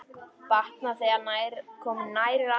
Batnar, þegar komum nær landi.